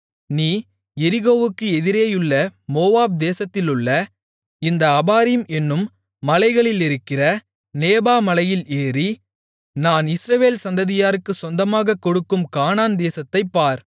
நீ எரிகோவுக்கு எதிரேயுள்ள மோவாப் தேசத்திலுள்ள இந்த அபாரீம் என்னும் மலைகளிலிருக்கிற நேபோ மலையில் ஏறி நான் இஸ்ரவேல் சந்ததியாருக்கு சொந்தமாகக் கொடுக்கும் கானான் தேசத்தைப் பார்